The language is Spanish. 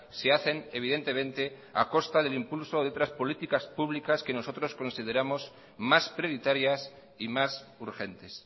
se hacen evidentemente a costa del impulso de otras políticas públicas que nosotros consideramos más prioritarias y más urgentes